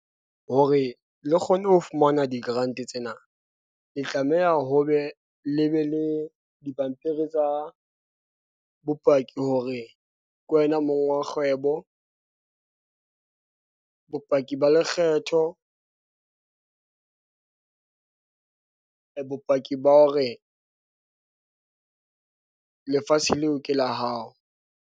Hore le kgone ho fumana di-grant tsena, le tlameha ho be le be le dipampiri tsa bopaki, hore ke wena mong wa kgwebo . Bopaki ba lekgetho . Bopaki ba hore lefatshe leo ke la hao.